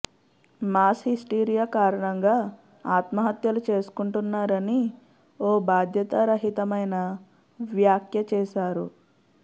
mass hysteria కారణంగా ఆత్మహత్యలు చేసుకుంటున్నారని ఓ బాధ్యతారహితమైన వ్యాఖ్య చేశారు